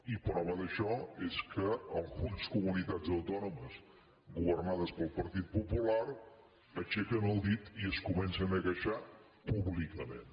i prova d’això és que algunes comunitats autònomes governades pel partit popular aixequen el dit i es comencen a queixar públicament